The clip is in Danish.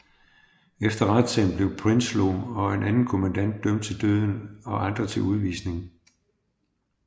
Efter retssagen blev Prinsloo og en anden kommandant dømt til døden og andre til udvisning